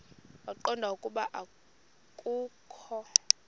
waqonda ukuba akokho